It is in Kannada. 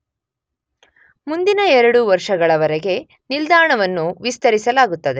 ಮುಂದಿನ ಎರಡು ವರ್ಷಗಳವರೆಗೆ ನಿಲ್ದಾಣವನ್ನು ವಿಸ್ತರಿಸಲಾಗುತ್ತದೆ.